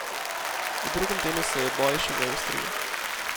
V drugem delu se je boj še zaostril.